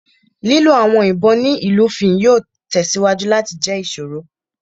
Lilo awọn ibon ni ilufin yoo tẹsiwaju lati jẹ iṣoro.